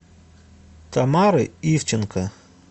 тамары ивченко